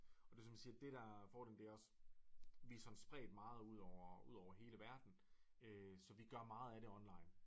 Og det som du siger det der er fordelen det er også vi sådan spredt meget ud over ud over hele verden så vi gør meget af det online